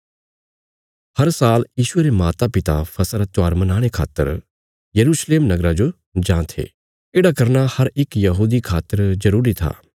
हर साल यीशुये रे मातापिता फसह रा त्योहार मनाणे खातर यरूशलेम नगरा जो जां थे येढ़ा करना हर इक यहूदी खातर जरूरी था